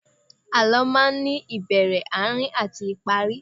Àlọ́ máa ní ìbẹ̀rẹ̀, Àárín àti ìparí